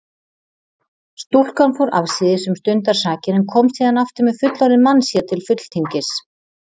Stúlkan fór afsíðis um stundarsakir en kom síðan aftur með fullorðinn mann sér til fulltingis.